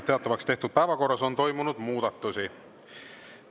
Teatavaks tehtud päevakorras on toimunud muudatusi.